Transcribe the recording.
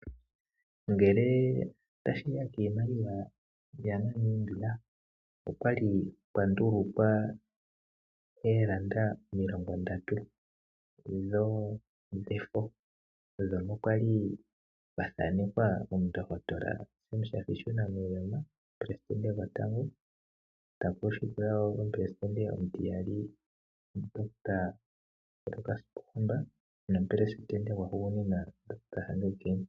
Ngele tashiya kiimaliwa ya Namibia okwali kwa ndulukwa elanda omilongo ndatu ndhono dhefo ndhono kwali kwa thanekwa omundohotola Sam Shafishuna Nuuyoma omupelesidente gotango ta ku landula omupelesidente omutiyali, omundohotola Lukas pohamba nomupelesidente gwa hugunina omundohotola Hage Geingob.